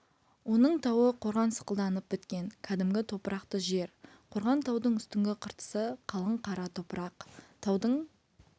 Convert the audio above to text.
оның тауы қорған сықылданып біткен кәдімгі топырақты жер қорған таудың үстіңгі қыртысы қалың қара топырақ таудың